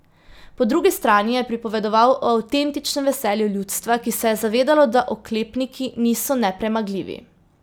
Po drugi strani je pripovedoval o avtentičnem veselju ljudstva, ki se je zavedalo, da oklepniki niso nepremagljivi.